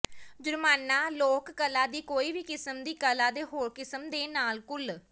ਜੁਰਮਾਨਾ ਲੋਕ ਕਲਾ ਦੀ ਕੋਈ ਵੀ ਕਿਸਮ ਦੀ ਕਲਾ ਦੇ ਹੋਰ ਕਿਸਮ ਦੇ ਨਾਲ ਘੁਲ